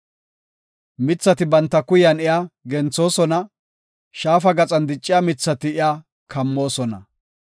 Mithati banta kuyan iya genthoosona; shaafa gaxan dicciya mithati iya kammoosona.